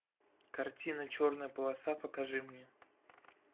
картина черная полоса покажи мне